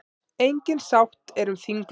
Engin sátt er um þinglok.